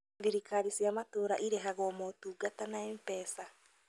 Thirikari cia matũũra irĩhagwo motungata na MPESA